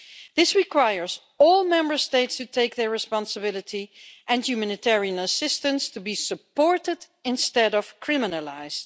This requires all Member States to take their responsibility and humanitarian assistance to be supported instead of criminalised.